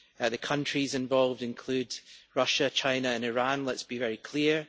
The countries involved include Russia, China and Iran, let us be very clear.